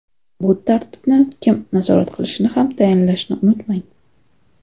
Bu tartibni kim nazorat qilishini ham tayinlashni unutmang.